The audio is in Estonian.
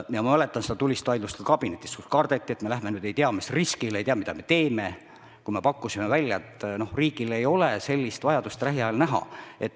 Ja ma mäletan seda tulist vaidlust kabinetis, kus kardeti, et me läheme nüüd ei tea mis riskile, ei tea, mida me teeme, kui me pakkusime välja, et riigil ei ole sellist vajadust lähiajal näha.